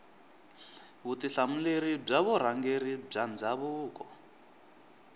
vutihlamuleri bya vurhangeri bya ndhavuko